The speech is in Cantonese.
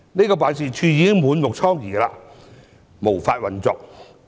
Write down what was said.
該辦事處已經滿目瘡痍，無法運作。